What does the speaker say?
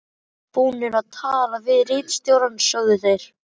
Búnir að tala við ritstjórann, sögðu þeir.